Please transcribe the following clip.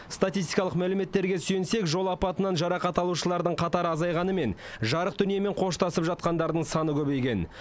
статистикалық мәліметтерге сүйенсек жол апатынан жарақат алушылардың қатары азайғанымен жарық дүниемен қоштасып жатқандардың саны көбейген